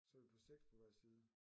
Så er vi på 6 på hver side